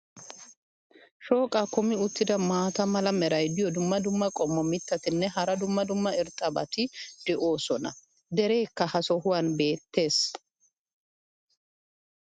shooqaa kummi uttida maata mala meray diyo dumma dumma qommo mitattinne hara dumma dumma irxxabati de'oosona. dereekka ha sohuwan beetees.